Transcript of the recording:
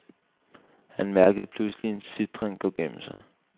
Han mærkede pludselig en sitren gå gennem sig.